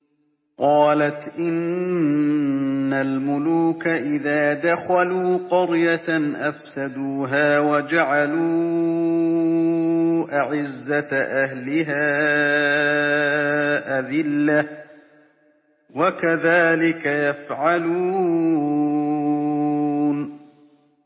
قَالَتْ إِنَّ الْمُلُوكَ إِذَا دَخَلُوا قَرْيَةً أَفْسَدُوهَا وَجَعَلُوا أَعِزَّةَ أَهْلِهَا أَذِلَّةً ۖ وَكَذَٰلِكَ يَفْعَلُونَ